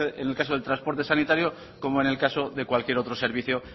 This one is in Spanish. en el caso del transporte sanitario como en el caso de cualquier otro servicio